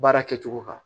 Baara kɛcogo kan